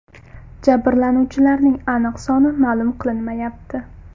Jabrlanuvchilarning aniq soni ma’lum qilinmayapti.